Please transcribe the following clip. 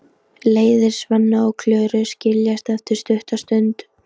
Leiðir Svenna og Klöru skiljast eftir stutta stund.